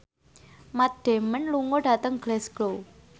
Matt Damon lunga dhateng Glasgow